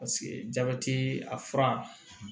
Paseke jabɛti a fura